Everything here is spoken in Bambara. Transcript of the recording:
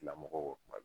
Lamɔgɔw kuma dɔ